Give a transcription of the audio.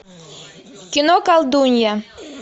кино колдунья